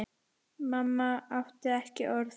Mamma átti ekki orð.